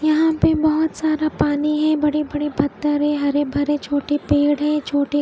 यहा पे बहोत सारा पानी है बड़े बड़े पत्थर है हरे भरे छोटे पेड़ है छोटे--